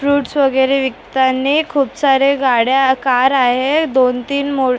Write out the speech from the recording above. fruits वगैरे विकतांनी खूप सारे गाड्या कार आहेत दोन तीन म --